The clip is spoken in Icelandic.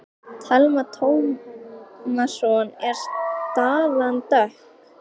Telma Tómasson: Er staðan dökk?